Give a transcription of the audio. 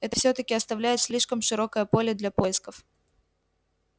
это всё-таки оставляет слишком широкое поле для поисков